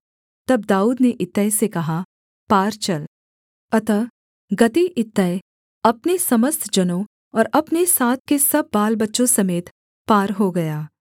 तब दाऊद ने इत्तै से कहा पार चल अतः गती इत्तै अपने समस्त जनों और अपने साथ के सब बालबच्चों समेत पार हो गया